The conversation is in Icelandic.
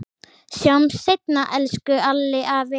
Sjáumst seinna, elsku Alli afi.